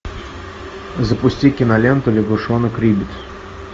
запусти киноленту лягушонок риббит